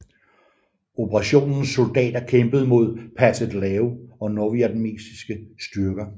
Operationens soldater kæmpede mod Pathet Lao og nordvietnamesiske styrker